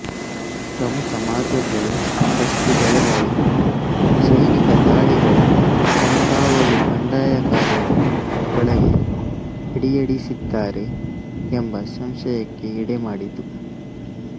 ಪ್ರಮುಖ ಮಾರ್ಗಗಳು ಗಸ್ತು ದಳಗಳು ಸೈನಿಕ ದಾಳಿಗಳ ಕಣ್ಗಾವಲು ಬಂಡಾಯಗಾರರು ಒಳಗೆ ಅಡಿಯಿಡಿಸಿದ್ದಾರೆ ಎಂಬ ಸಂಶಯಕ್ಕೆ ಎಡೆಮಾಡಿತು